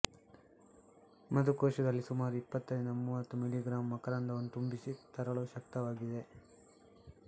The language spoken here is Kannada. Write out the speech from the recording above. ಮಧುಕೋಶದಲ್ಲಿ ಸುಮಾರು ಇಪ್ಪತ್ತರಿಂದ ಮೂವತ್ತು ಮಿ ಗ್ರಾಂ ಮಕರಂದವನ್ನು ತುಂಬಿಸಿ ತರಲು ಶಕ್ತವಾಗಿವೆ